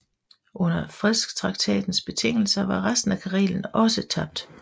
Under fredstraktatens betingelser var resten af Karelen også tabt